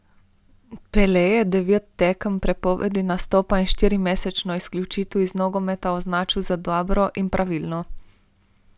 Pele je devet tekem prepovedi nastopa in štirimesečno izključitev iz nogometa označil za dobro in pravilno.